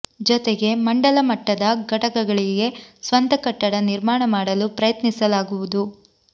ಜೊತೆಗೆ ಮಂಡಲ ಮಟ್ಟದ ಘಟಕಗಳಿಗೆ ಸ್ವಂತ ಕಟ್ಟಡ ನಿರ್ಮಾಣ ಮಾಡಲು ಪ್ರಯತ್ನಿಸಲಾಗುವುದು